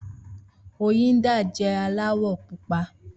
Oyinda jẹ́ aláwọ̀ pupa.